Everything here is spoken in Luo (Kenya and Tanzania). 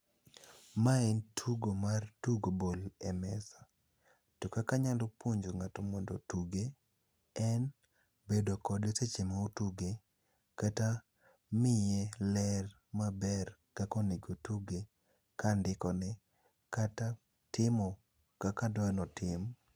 Mae en tugo mar tugo bol e mesa. To kaka anyalo puonj ng'ato mondo tuge, en bedo kode seche ma otuge kata miye ler maber kakonego otuge kandikone. Kata timo kaka adwanotim.